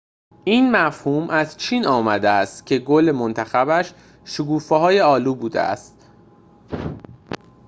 این مفهوم از چین آمده است که گل منتخبش شکوفه‌های آلو بوده است